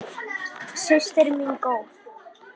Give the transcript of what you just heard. Systir mín góð.